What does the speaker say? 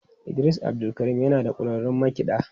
Idris abdulkarim yana da kwararrun makiɗa.